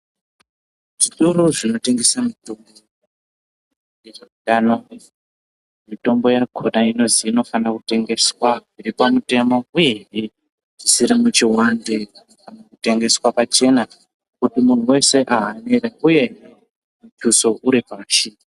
Zvitoro zvinotengesa mutombo ngezveutano, mitombo yakona inofana kutengeswa zviripamutemo uye zvisiri muchihwande, kutengeswa pachena kuti muntu wese ahambire uye mutuso uri pasi.